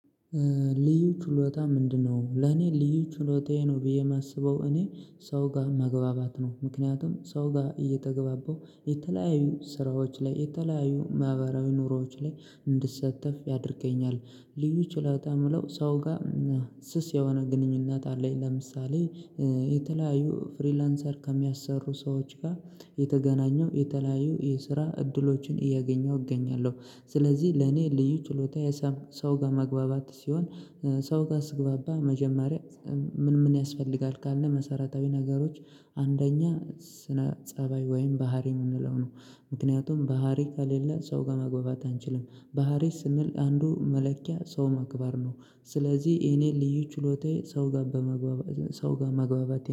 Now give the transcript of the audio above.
ልዩ ችሎታ ምንድነው? ለኔ ልዩ ችሎታዬ ነው ብዬ የማስበው እኔ ሰው ጋር ማግባባት ነው። ምክንያቱም ሰው ጋር እየተገባባው የተለያዩ ስራዎች ላይ የተለያዩ ማህበራዊ ኑሮዎች ላይ እንድትሰተፍ ያደርገኛል። ልዩ ችሎታ የምለው ሰው ጋር ስስ የሆነ ግንኙነት አለኝ። ለምሳሌ የተለያዩ ፍሪላንሰር ከሚያሰሩ ሰዎች ጋር የተገናኘው የተለያዩ የስራ እድሎችን እያገኘው እገኛለው። ስለዚህ ለእኔ ልዩ ችሎታዬ ሰው ጋር ማግባባት ሲሆን ሰው ጋር ስግባባ መጀመሪያ ምን ምን ያስፈልጋል ካልን መሰረታዊ ነገሮች አንደኛ ስነ ፀባይ ወይም ባህሪ የምንለው ነው። ምክንያቱም ባህሪ ከሌለ ሰው ጋር ማግባባት አንችልም ባህሪ ስንል አንዱ መለኪያ ሰው ማክበር ነው። ስለዚህ የኔ ልዩ ችሎታዬ ሰው ጋር መግባባቴ